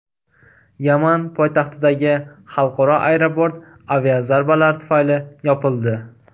Yaman poytaxtidagi xalqaro aeroport aviazarbalar tufayli yopildi.